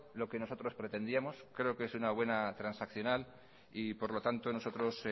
lo que nosotros pretendíamos creo que es una buena transaccional y por lo tanto nosotros